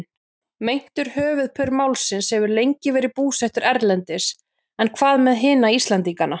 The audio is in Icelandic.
Meintur höfuðpaur málsins hefur lengi verið búsettur erlendis en hvað með hina Íslendingana?